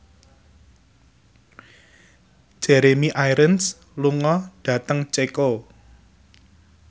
Jeremy Irons lunga dhateng Ceko